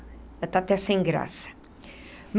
Já está até sem graça.